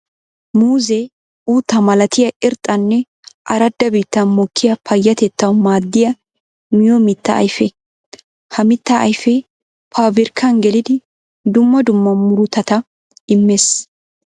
Muuzze uttaa malattiya irxxanne arada biittan mokkiya payatettawu maadiya miyo mitta ayfe. Ha mitta ayfe pabirkkan geliddi dumma dumma murutatta imees.